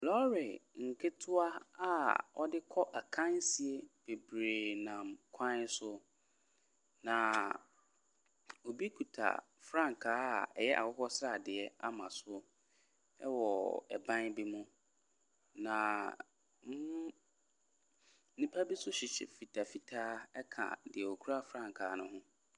Lɔre nketewa a wɔde kɔ akansie bebree nam kwan so, na obi kuta frankaa a ɛyɛ akokɔ sradeɛ ama so wɔ ban bi mu, na nn nnipa bi nso hyehyɛ mfitamfitaa ka deɛ ɔkura frankaa no ho.